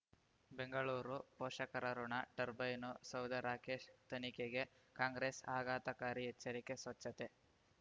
ಬೆಂಗಳೂರು ಪೋಷಕರಋಣ ಟರ್ಬೈನು ಸೌಧ ರಾಕೇಶ್ ತನಿಖೆಗೆ ಕಾಂಗ್ರೆಸ್ ಆಘಾತಕಾರಿ ಎಚ್ಚರಿಕೆ ಸ್ವಚ್ಛತೆ